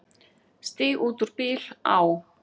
Stíg út úr bíl, á.